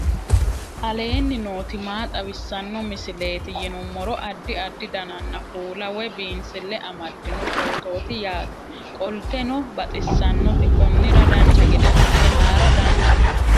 aleenni nooti maa xawisanno misileeti yinummoro addi addi dananna kuula woy biinsille amaddino footooti yaate qoltenno baxissannote konnira dancha gede assine haara danchate